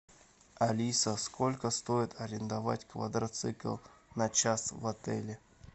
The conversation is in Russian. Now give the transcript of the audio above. алиса сколько стоит арендовать квадроцикл на час в отеле